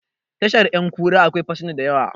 Tashar 'yankura akwai fasinja da yawa